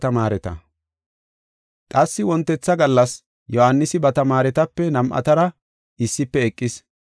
Qassi wontetha gallas Yohaanisi ba tamaaretape nam7atara issife eqis.